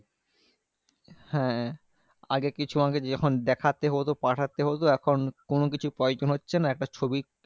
হ্যাঁ আগে কিছু আমাকে যখন দেখতে হতো পাঠাতে হতো এখন কোনোকিছু প্রয়োজন হচ্ছে না। একটা ছবি